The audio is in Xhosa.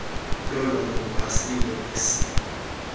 lolwaluko alilo siko